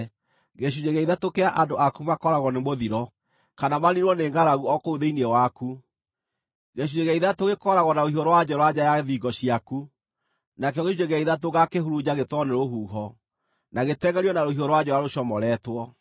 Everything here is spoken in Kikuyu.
Gĩcunjĩ gĩa ithatũ kĩa andũ aku makooragwo nĩ mũthiro, kana maniinwo nĩ ngʼaragu o kũu thĩinĩ waku; gĩcunjĩ gĩa ithatũ gĩkooragwo na rũhiũ rwa njora nja ya thingo ciaku; nakĩo gĩcunjĩ gĩa ithatũ ngaakĩhurunja gĩtwarwo nĩ rũhuho, na gĩtengʼerio na rũhiũ rwa njora rũcomoretwo.